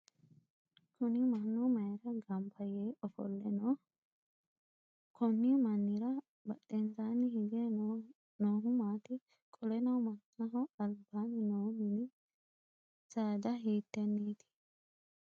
Kunni mannu mayira ganba yee ofole Nooho? Konni mannira badhensaanni hige noohu maati? Qoleno mannaho albaanni noo minni saada hiiteneeti?